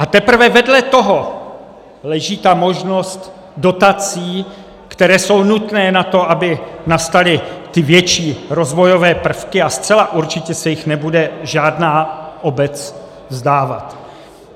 A teprve vedle toho leží ta možnost dotací, které jsou nutné na to, aby nastaly ty větší rozvojové prvky, a zcela určitě se jich nebude žádná obec vzdávat.